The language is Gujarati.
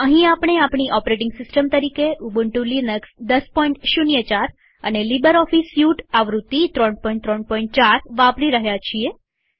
અહીં આપણે આપણી ઓપરેટિંગ સિસ્ટમ તરીકે ઉબન્ટુ લિનક્સ ૧૦૦૪ અને લીબરઓફીસ સ્યુટ આવૃત્તિ ૩૩૪ વાપરી રહ્યા છીએ